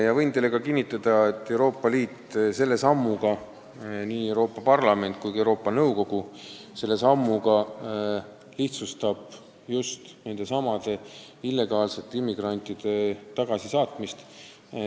Ja võin teile ka kinnitada, et Euroopa Liit – nii Euroopa Parlament kui ka Euroopa Liidu Nõukogu – lihtsustab just selle sammuga illegaalsete immigrantide tagasisaatmist.